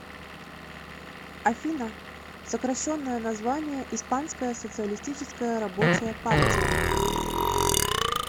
афина сокращенное название испанская социалистическая рабочая партия